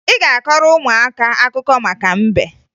Ị ga-akọọrọ ụmụaka akụkọ maka mbe